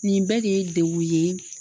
Nin bɛɛ de ye degun ye